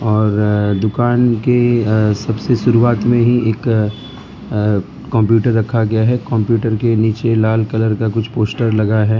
और दुकान के सबसे शुरुआत में ही एक कंप्यूटर रखा गया है कंप्यूटर के नीचे लाल कलर का कुछ पोस्टर लगा है।